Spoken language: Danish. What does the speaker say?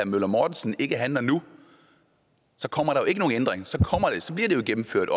møller mortensen ikke handler nu så kommer der jo ændring og så bliver det gennemført